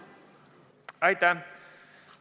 Aitäh!